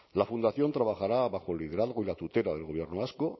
la fundación trabajará bajo el liderazgo y la tutela del gobierno vasco